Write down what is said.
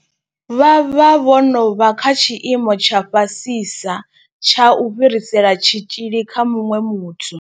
Vha vha vho no vha kha tshiimo tsha fhasisa tsha u fhirisela tshitzhili kha muṅwe muthu.